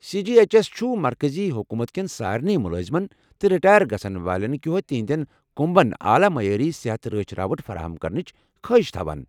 C G H S چھُ مرکزی حکوٗمت کٮ۪ن سارنی مٗلٲزِمن تہٕ رِٹایر گژھن والٮ۪ن كہو تہنٛدٮ۪ن كٗمبن اعلیٰ معیاری صحتٕ رٲچھِ راوٹھ فراہم کرنٕچ خٲہِش تھوان۔